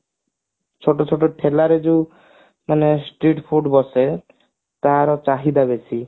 ସବୁ ସେଠି ଠେଲାରେ ଯୋଉ ମାନେ street food ବସେ ତାର ଚାହିଦା ବେଶୀ